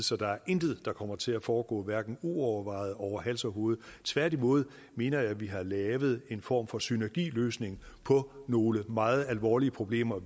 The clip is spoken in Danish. så der er intet der kommer til at foregå hverken uovervejet eller over hals og hoved tværtimod mener jeg at vi har lavet en form for synergiløsning på nogle meget alvorlige problemer